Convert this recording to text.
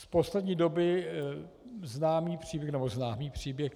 Z poslední doby známý příběh, nebo známý příběh...